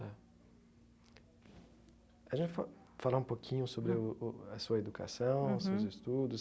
É a gente fa falar um pouquinho sobre o o a sua educação uhum, seus estudos.